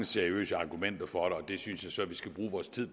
seriøse argumenter for det og det synes jeg så vi skal bruge vores tid